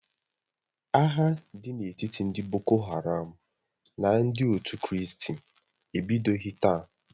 Agha dị n'etiti ndị boko haram na ndị otu kristi ebidoghi taa.